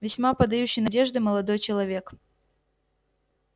весьма подающий надежды молодой человек